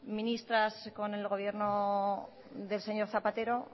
ministras con el gobierno del señor zapatero